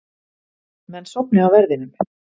Menn sofni á verðinum